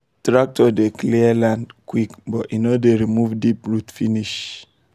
tractor dey clear land quick but e no dey remove deep root finish